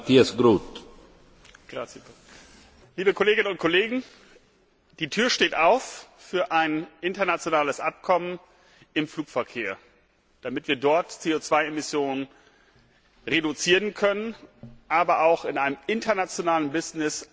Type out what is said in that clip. Herr Präsident, liebe Kolleginnen und Kollegen! Die Tür steht offen für ein internationales Abkommen im Flugverkehr, damit wir dort CO Emissionen reduzieren können, aber auch in einem internationalen Business ein Instrument in die Hand bekommen.